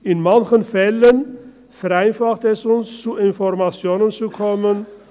In manchen Fällen vereinfacht sie es uns, zu Informationen zu kommen;